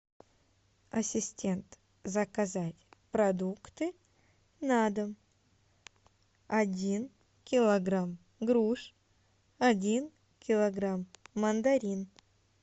ассистент заказать продукты на дом один килограмм груш один килограмм мандарин